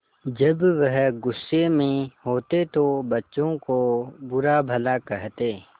जब वह गुस्से में होते तो बच्चों को बुरा भला कहते